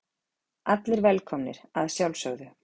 Allir velkomnir að sjálfsögðu.